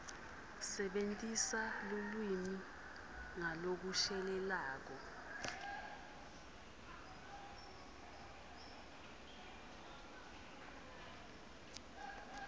sebentisa lulwimi ngalokushelelako